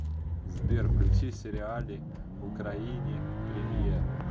сбер включи сериали украини премьер